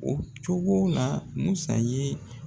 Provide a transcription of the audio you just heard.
O cogo la MUSA ye.